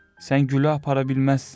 Sən gülü apara bilməzsən.